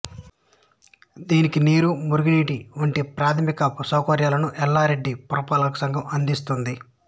దీనికి నీరు మురుగునీటి వంటి ప్రాథమిక సౌకర్యాలను యల్లారెడ్డి పురపాలకసంఘం అందిస్తుంది